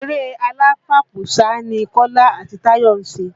Eré aláfàpò sá ni Kọ́lá àti Táyọ̀ ṣe